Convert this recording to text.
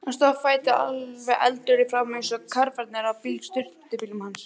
Hann stóð á fætur, alveg eldrauður í framan eins og karfarnir á sturtubílunum hans.